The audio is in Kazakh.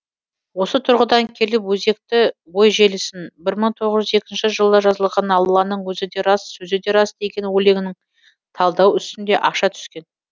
осы тұрғыдан келіп өзекті ой желісін бір мың тоғыз жүз екінші жылы жазылған алланың өзі де рас сөзі де рас деген өлеңін талдау үстінде аша түскен